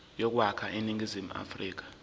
yokwakha iningizimu afrika